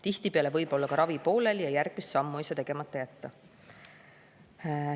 Tihtipeale võib olla ka ravi pooleli ja järgmist sammu ei saa tegemata jätta.